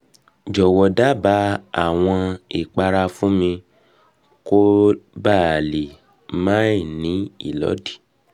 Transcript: jowo daba awon ipara fun mi koba le ma ni ilodi